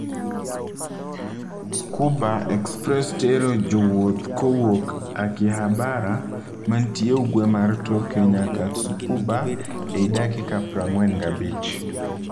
Tsukuba Express tero jowuoth kowuok Akihabara mantie ugwe mar Tokyo nyaka Tsukuba ei dakika 45.